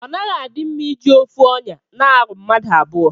Onaghi adi mma iji ofu onya na aru mmadu abụọ.